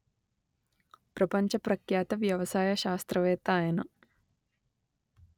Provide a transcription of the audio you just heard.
ప్రపంచ ప్రఖ్యాత వ్యవసాయ శాస్త్రవేత్త ఆయన